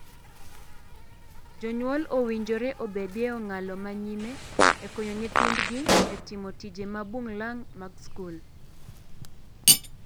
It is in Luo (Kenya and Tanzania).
Jonyuol owinjore obedie e ong'ala ma nyime e konyo nyithindgi e timo tije mabuglang' mag skul.